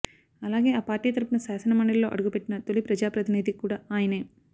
అలాగే ఆ పార్టీ తరపున శాసనమండలిలో అడుగుపెట్టిన తొలి ప్రజాప్రతినిధి కూడా ఆయనే